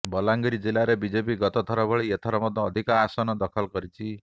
ବଲାଙ୍ଗୀର ଜିଲ୍ଲାରେ ବିଜେପି ଗତଥର ଭଳି ଏଥର ମଧ୍ୟ ଅଧିକ ଆସନ ଦଖଲ କରିଛି